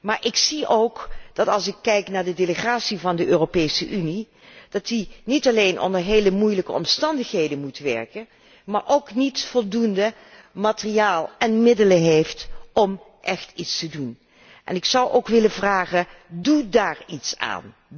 Maar ik zie ook, als ik kijk naar de delegatie van de Europese Unie, dat die niet alleen onder heel moeilijke omstandigheden moet werken, maar daarnaast ook niet over voldoende materiaal en middelen beschikt om écht iets te kunnen doen. Ik zou dan ook willen vragen doe daar iets aan!